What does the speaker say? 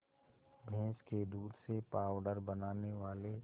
भैंस के दूध से पावडर बनाने वाले